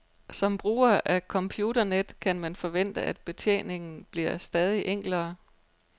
Som bruger af computernet kan man forvente at betjeningen bliver stadig enklere.